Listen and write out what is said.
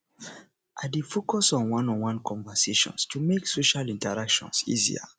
i dey focus on oneonone conversations to make social interactions easier